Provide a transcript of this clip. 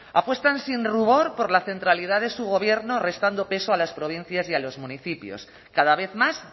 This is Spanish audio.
apuestan sin rubor por la centralidad de su gobierno restando peso a las provincias y a los municipios cada vez más